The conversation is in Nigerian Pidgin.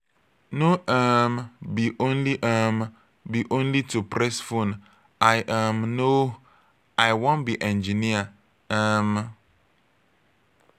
no um be only um be only to press phone i um no. i wan be engineer. um